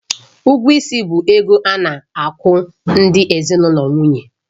Ụgwọ ịsị bụ ego a na-akwụ ndị ezinụlọ nwunye